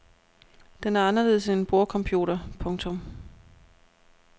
Den er anderledes end en bordcomputer. punktum